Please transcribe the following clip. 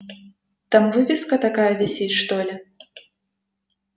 там вывеска такая висит что ли